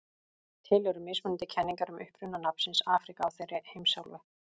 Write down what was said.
til eru mismunandi kenningar um uppruna nafnsins afríka á þeirri heimsálfu